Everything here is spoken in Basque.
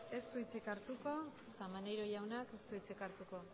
ez du hitzik hartuko eta maneiro jaunak ez du hitzik hartuko